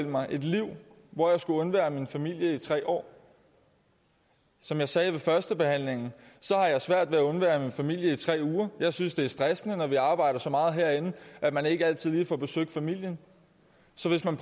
mig et liv hvor jeg skulle undvære min familie i tre år som jeg sagde ved førstebehandlingen har jeg svært ved at undvære min familie i tre uger jeg synes det er stressende når vi arbejder så meget herinde at man ikke altid lige får besøgt familien så hvis man